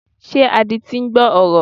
Ṣé adití ń gbọ́ ọ̀rọ̀?